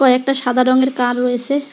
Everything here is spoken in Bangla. কয়েকটা সাদা রঙের কার রয়েসে।